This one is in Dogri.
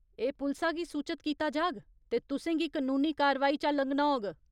एह् पुलसा गी सूचत कीता जाग, ते तुसें गी कनूनी कारवाई चा लंघना होग।